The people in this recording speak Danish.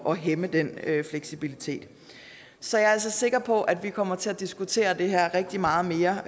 at hæmme den fleksibilitet så jeg er altså sikker på at vi fremover kommer til at diskutere det her rigtig meget mere